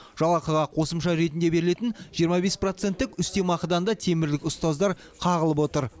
жалақыға қосымша ретінде берілетін жиырма бес проценттік үстемақыдан да темірлік ұстаздар қағылып отыр